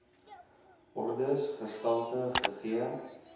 ordes gestalte gegee